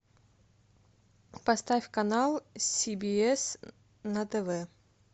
поставь канал си би эс на тв